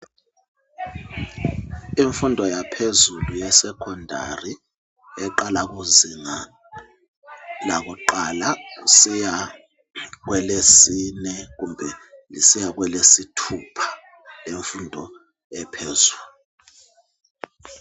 Imfundo yaphezulu yeSecondary eqala kuzinga lakuqala kusiya kwelesine kumbe kusiya kwelesithupha lemfundo ephezulu.